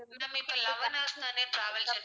ma'am இப்ப eleven hours தானே travel இருக்கு